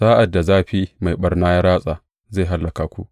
Sa’ad da zafi mai ɓarna ya ratsa, zai hallaka ku.